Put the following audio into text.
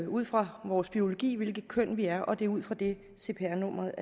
ud fra vores biologi hvilket køn vi er og det er ud fra det at cpr nummeret